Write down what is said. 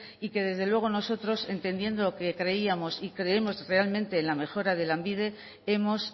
y que desde luego nosotros entendiendo lo que creíamos y creemos realmente en la mejora de lanbide hemos